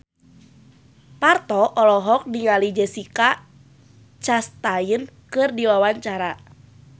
Parto olohok ningali Jessica Chastain keur diwawancara